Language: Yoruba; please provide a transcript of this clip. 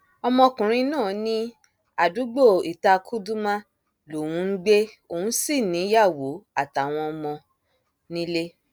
ọmọkùnrin náà ní àdúgbò itàkuldumah lòún ń gbé òun sí níyàwó àtàwọn ọmọ nílé